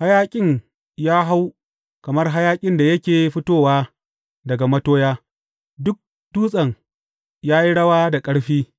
Hayaƙin ya hau kamar hayaƙin da yake fitowa daga matoya, duk dutsen ya yi rawa da ƙarfi,